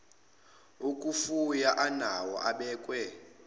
okufuya anawo abekwe